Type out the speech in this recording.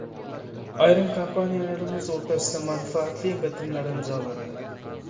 Ayrim kompaniyalarimiz o‘rtasida manfaatli bitimlar imzolandi.